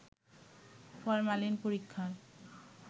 formalin পরীক্ষার